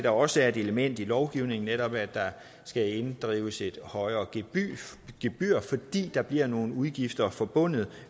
også er et element i lovgivningen netop at der skal inddrives et højere gebyr fordi der bliver nogle udgifter forbundet